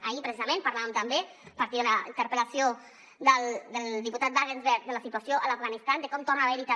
ahir precisament parlàvem també a partir de la interpel·lació del diputat wagensberg de la situació a l’afganistan de com torna a haver hi també